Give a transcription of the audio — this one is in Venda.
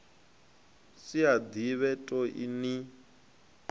si a ḓivhe toe ni